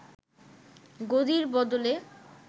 গদির বদলে